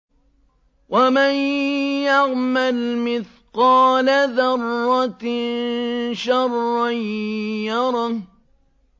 وَمَن يَعْمَلْ مِثْقَالَ ذَرَّةٍ شَرًّا يَرَهُ